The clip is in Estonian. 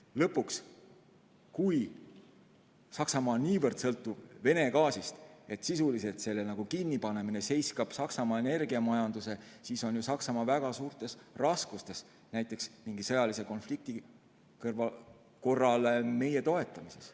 Lõpuks, kui Saksamaa on niivõrd sõltuvuses Vene gaasist, et selle kinnipanemine sisuliselt seiskaks Saksamaa energiamajanduse, siis on Saksamaa ju väga suurtes raskustes näiteks mingi sõjalise konflikti korral meie toetamisel.